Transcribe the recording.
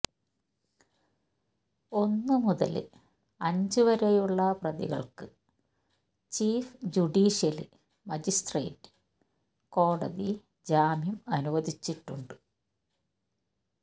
ഒന്നു മുതല് അഞ്ച് വരെയുള്ള പ്രതികള്ക്ക് ചീഫ് ജുഡീഷ്യല് മജിസ്ട്രേറ്റ് കോടതി ജാമ്യം അനുവദിച്ചിട്ടുണ്ട്